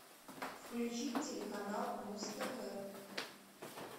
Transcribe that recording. включи телеканал муз тв